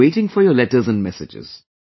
I will be waiting for your letter and messages